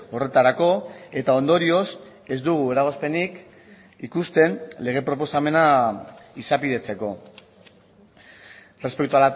horretarako eta ondorioz ez dugu eragozpenik ikusten lege proposamena izapidetzeko respecto